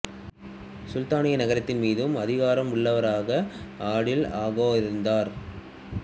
சுல்தானியே நகரத்தின் மீதும் அதிகாரம் உள்ளவராக அடில் அகா இருந்தார்